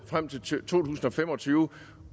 frem til to tusind og fem og tyve